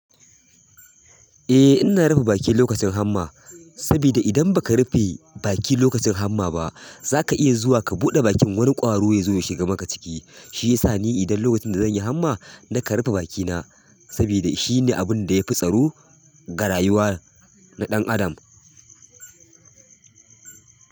Eh ina rufe bakina lokacin hamma, saboda idan ba ka rufe baki lokacin hamma ba za ka iya zuwa ka buɗe bakin wani ƙwaro ya zo ya shiga maka ciki. Shi ya sa ni idan lokacin da zan yi hamma na ka rufe bakina saboda shi ne abun da ya fi tsaro garayuwar na ɗan adam.